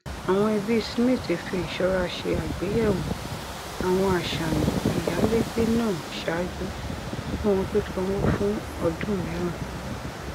àwọn ẹbí smith fi ìṣọra ṣe àgbéyẹwò àwọn àṣàyàn ìyálégbé náà ṣáájú kí wọn tó sanwó fún ọdún mìíràn